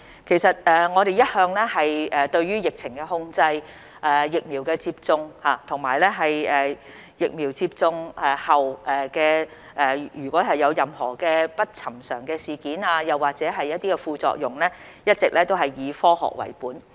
其實我們對於疫情控制、疫苗接種，以及接種疫苗後如有任何不尋常事件或副作用，一直都是以科學為本。